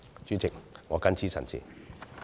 主席，我謹此陳辭。